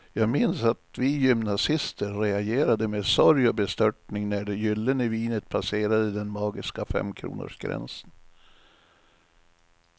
Jag minns att vi gymnasister reagerade med sorg och bestörtning när det gyllene vinet passerade den magiska femkronorsgränsen.